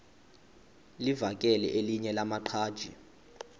livakele elinye lamaqhaji